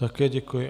Také děkuji.